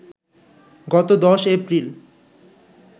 গত ১০ এপ্রিল